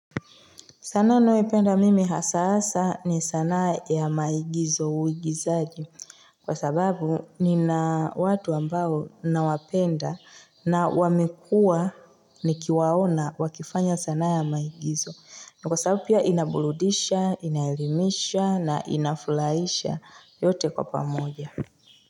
Sanaa ninayoipenda mimi hasaa ni sanaa ya maigizo uigizaji. Kwa sababu nina watu ambao nawapenda na wamekuwa nikiwaona wakifanya sanaa ya maigizo. Kwa sababu pia inaburudisha, inaelimisha na inafuraisha yote kwa pamoja.